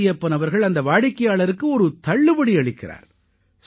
மாரியப்பன் அவர்கள் அந்த வாடிக்கையாளருக்கு ஒரு தள்ளுபடி அளிக்கிறார்